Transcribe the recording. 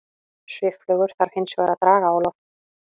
Svifflugur þarf hins vegar að draga á loft.